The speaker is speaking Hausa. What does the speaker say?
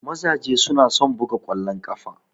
Mazaje su na son buga kwallon kafa.